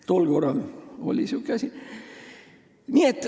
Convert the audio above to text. Tol ajal oli sihuke asi.